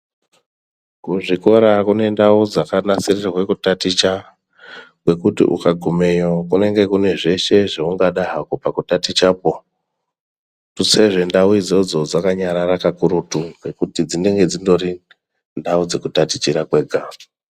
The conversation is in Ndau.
Kuzvikora kune ndau dzakanasirirwe kutaticha, kwekuti ukagumeyo, kunenge kune zveshe zveungada hako pakutatichakwo, tutsezve ndau idzodzo dzakanyarara kakurutu, ngekuti dzinenge dzingori ndau dzekutatichira kwega.